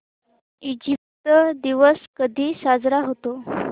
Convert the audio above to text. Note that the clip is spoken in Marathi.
इजिप्त दिवस कधी साजरा होतो